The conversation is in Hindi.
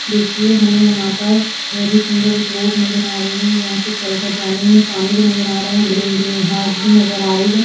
देखिए हमें यहा पर बहुत ही सुंदर एक रोड नज़र आ रही है यहा से चल कर जाने में पानी भी नजर आ रहा है ग्रीन ग्रीन घास भी नज़र आ रही है।